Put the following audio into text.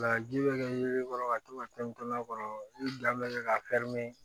Laji bɛ kɛ yelen kɔrɔ ka to ka tɛni to a kɔrɔ i da bɛ kɛ ka